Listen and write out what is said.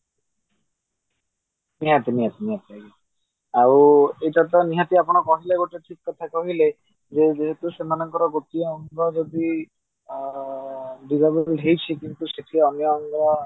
ନିହାତି ନିହାତି ନିହାତି ଭାବରେ ଆଉ ଏଇଟା ତ ନିହାତି ଆପଣ କହିଲେ ଠିକ କଥା କହିଲେ ଯେ ଯେହେତୁ ସେମାନକର ଗୋଟିଏ ଅଙ୍ଗ ଯଦି disabled ହେଇଛି କିଣୁ ସେଠୀ ଅନ୍ୟ ଅଙ୍ଗ